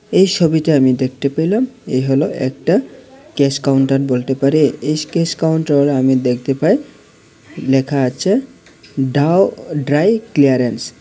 এই সবিটা আমি দেখতে পেলাম এই হল একটা ক্যাশ কাউন্টার বলতে পারে এই ক্যাশ কাউন্টার আমি দেখতে পাই লেখা আছে ডাউ ড্রাই ক্লিয়ারেন্স ।